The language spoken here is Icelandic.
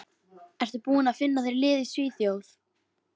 Ertu búinn að finna þér lið í Svíþjóð?